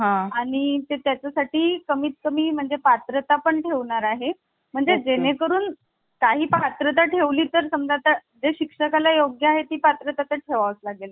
त्याच्या साठी कमीत कमी म्हणजे पात्रता पण ठेवणार आहे म्हणजे जेणेकरून काही पात्रता ठेवली तर समजा जे शिक्षका ला योग्य आहे ती पात्रता ठेवावाच लागेल